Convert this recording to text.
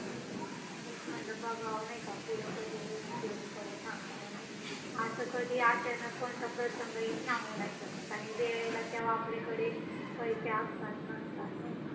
cricket जगामध्ये सर्वात जास्त लोकप्रिय असणारा खेळ आहे